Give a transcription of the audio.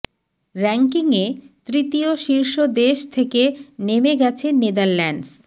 ব়্যাংকিংয়ে তৃতীয় শীর্ষ দেশ থেকে নেমে গেছে নেদারল্যান্ডস